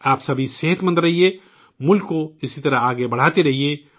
آپ سبھی صحت مند رہیں، ملک کو اسی طرح آگے بڑھاتے رہیں